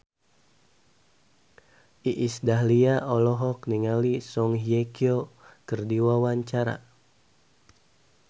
Iis Dahlia olohok ningali Song Hye Kyo keur diwawancara